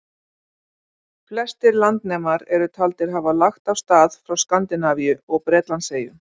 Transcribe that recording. Flestir landnemar eru taldir hafa lagt af stað frá Skandinavíu og Bretlandseyjum.